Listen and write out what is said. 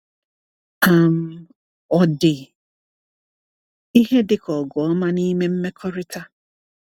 um Ọ̀ dị ihe dịka ọgụ ọma n’ime mmekọrịta?